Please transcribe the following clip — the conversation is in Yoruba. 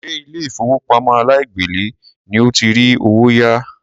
Ṣé ilé ìfowópamọ́ aláìgbèlé ni o ti rí owó yá?